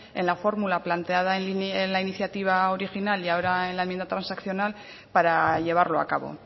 en la fórmula planteada en la iniciativa original y ahora en la enmienda transaccional para llevarlo a cabo